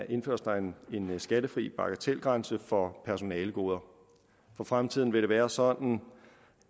indføres der en skattefri bagatelgrænse for personalegoder for fremtiden vil det være sådan